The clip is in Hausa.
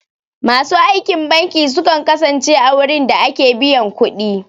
Masu aikin banki sukan kasance a wurin da ake biyan ƙudi